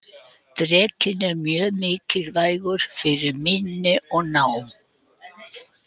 Drekinn er mjög mikilvægur fyrir minni og nám.